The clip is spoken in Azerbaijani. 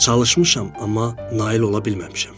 Çalışmışam, amma nail ola bilməmişəm.